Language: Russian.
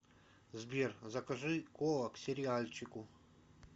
сбер закажи кола к сериальчику